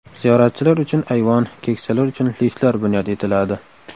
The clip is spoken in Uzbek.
Ziyoratchilar uchun ayvon, keksalar uchun liftlar bunyod etiladi.